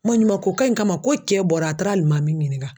Maɲumanko kan in kama ko cɛ bɔra a taara alimami ɲininka.